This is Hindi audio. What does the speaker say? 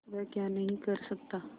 वह क्या नहीं कर सकता